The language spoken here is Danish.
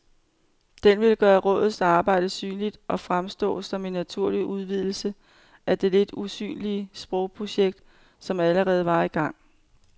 Den ville gøre rådets arbejde synligt og fremstå som en naturlig udvidelse af det lidt usynlige sprogprojekt, som allerede var i gang.